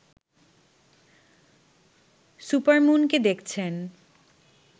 supermoon কে দেখছেন